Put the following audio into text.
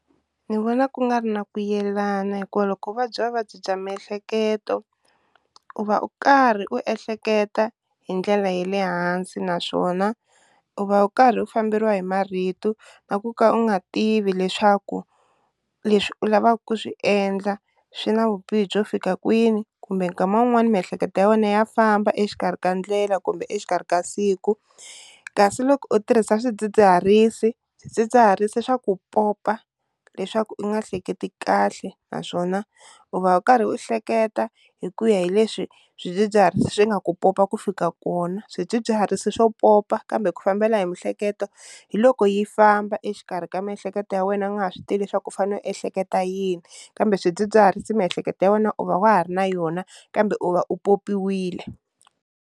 Ni vona ku nga ri na ku yelana hikuva loko u vabya vuvabyi bya miehleketo u va u karhi u ehleketa hi ndlela ya le hansi naswona u va u karhi u famberiwa hi marito na ku ka u nga tivi leswaku u leswi u lavaka ku swi endla swi na vubihi byo fika kwini kumbe nkama wun'wani miehleketo ya wena ya famba exikarhi ka ndlela kumbe exikarhi ka siku, kasi loko u tirhisa swidzidziharisi, swidzidziharisi swa ku popa leswaku u nga hleketi kahle naswona u va u karhi u hleketa hi ku ya hi leswi swidzidziharisi swi nga ku popa ku fika kona, swidzidziharisi swo popa kambe ku fambela hi mihleketo hiloko yi famba exikarhi ka miehleketo ya wena u nga ha swi tivi leswaku u fanele u ehleketa yini, kambe swidzidziharisi miehleketo ya wena u va wa ha ri na yona kambe u va u popiwile.